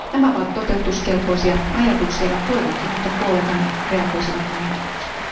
Nämä ovat toteutuskelpoisia ajatuksia, ja toivonkin, että kollegani reagoisivat näihin ajatuksiin.